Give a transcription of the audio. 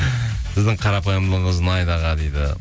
сіздің қарапайымдылығыңыз ұнайды аға дейді